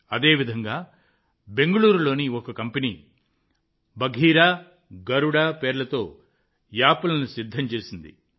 అదేవిధంగా బెంగళూరులోని ఓ కంపెనీ బఘీరా గరుడ పేర్లతో యాప్లను సిద్ధం చేసింది